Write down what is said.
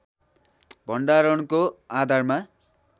भण्डारणको आधारमा